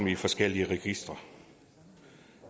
i forskellige registre